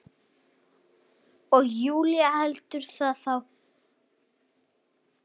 Og Júlía heldur nú það!